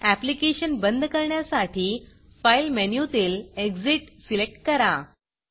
application बंद करण्यासाठी file मेनूतील Exitएग्ज़िट सिलेक्ट करा